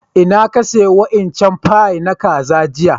Inna ka siya wa'incan fie na kaza jiya?